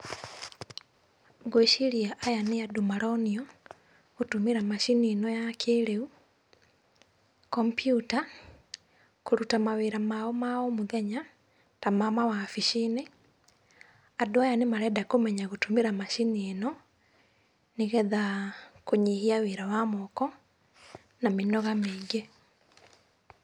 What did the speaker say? Ngwĩciria aya nĩ andũ maronio, gũtũmĩra macini ĩno ya kĩrĩu, computer kũrũta mawĩra mao ma o mũthenya, ta ma mawabici-inĩ. Andũ aya nĩ marenda kũmenya gũtũmĩra macini ĩno, nĩgetha kũnyihia wĩra wa moko, na mĩnoga mĩingĩ.